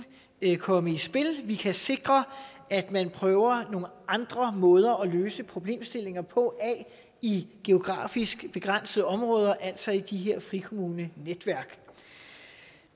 komme i spil at vi kan sikre at man afprøver nogle andre måder at løse problemstillinger på i geografisk begrænsede områder altså i de her frikommunenetværk